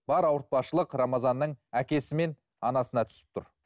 бар ауыртпаушылық рамазанның әкесі мен анасына түсіп тұр